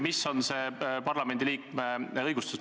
Mis on see parlamendi liikme õigus?